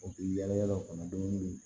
U bɛ yala yala u kana dumuni